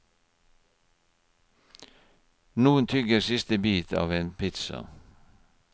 Noen tygger siste bit av en pizza.